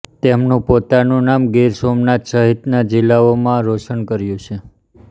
તેમનું પોતાનું નામ ગીર સોમનાથ સહિતનાં જિલ્લાઓમાં રોશન કર્યું છે